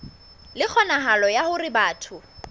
le kgonahalo ya hore batho